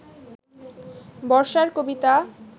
বর্ষার কবিতা